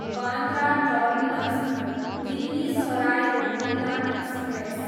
Bandra terminus, Delhi Sarai Rohilla express